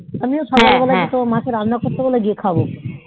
আমিও সকাল বেলায় যাবো মাকে রান্না করতে বলবো খাবে